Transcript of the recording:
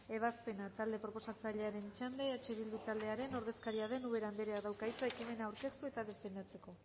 ebazpena talde proposatzailearen txanda eh bildu taldearen ordezkaria den ubera andereak dauka hitza ekimena aurkeztu eta defendatzeko